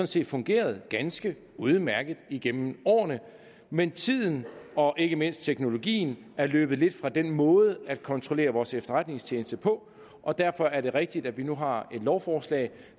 set fungeret ganske udmærket igennem årene men tiden og ikke mindst teknologien er løbet lidt fra den måde at kontrollere vores efterretningstjeneste på og derfor er det rigtigt at vi nu har et lovforslag